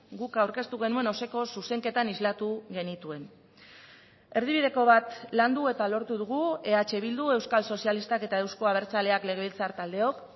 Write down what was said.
guk aurkeztu genuen osoko zuzenketan islatu genituen erdibideko bat landu eta lortu dugu eh bildu euskal sozialistak eta euzko abertzaleak legebiltzar taldeok